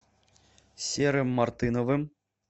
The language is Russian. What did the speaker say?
серым мартыновым